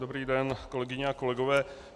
Dobrý den, kolegyně a kolegové.